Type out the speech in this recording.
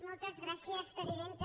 moltes gràcies presidenta